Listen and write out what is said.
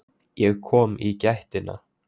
Ég kom í gættina.